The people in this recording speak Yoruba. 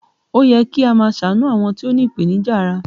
Ó yẹ kí a máa ṣàánú àwọn tó ní ipenija ara